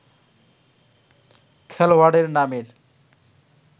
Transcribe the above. খেলোয়াড়ের নামের